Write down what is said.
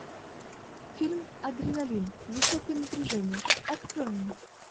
фильм адреналин высокое напряжение открой мне